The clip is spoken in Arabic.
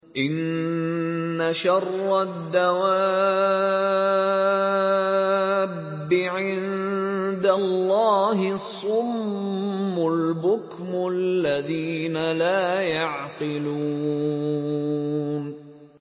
۞ إِنَّ شَرَّ الدَّوَابِّ عِندَ اللَّهِ الصُّمُّ الْبُكْمُ الَّذِينَ لَا يَعْقِلُونَ